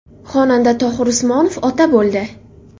Xonanda Tohir Usmonov ota bo‘ldi.